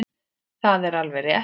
Það er alveg rétt.